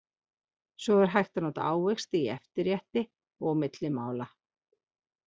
Svo er hægt að nota ávexti í eftirrétti og milli mála.